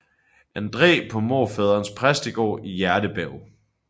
Andræ på morfaderens præstegård i Hjertebjerg